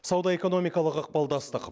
сауда экономикалық ықпалдастық